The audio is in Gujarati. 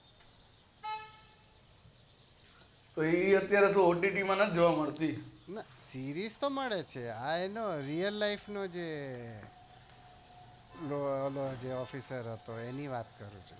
તોઅત્યારે ott માં નથી જોવા મળતી series મળે છે real life નો જે officer હતો એની વાત કરું છુ